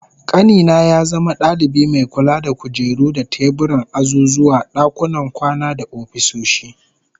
Kani na ya zama dalibi mai kula da kujeru da teburan azuzuwa, dakunan kwana da ofisoshi